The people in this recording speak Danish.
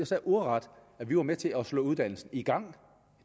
sagde ordet at vi var med til at slå uddannelsen i gang